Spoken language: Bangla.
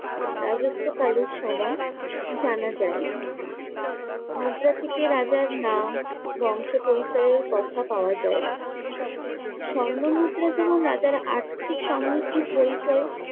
রাজত্ব কালের সময় জানা যায়। মুদ্রা থেকে রাজার নাম বংশ পরিচয়ের কথা পাওয়া যায়। স্বর্ণ মুদ্রা যেমন রাজার আর্থিক সমৃদ্ধির পরিচয়